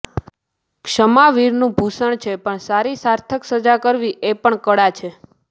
ક્ષમા વીરનું ભૂષણ છે પણ સારી સાર્થક સજા કરવી એ પણ કળા છે